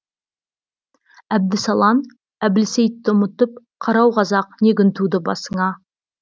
әбдісалан әбілсейтті ұмытып қарау қазақ не күн туды басыңа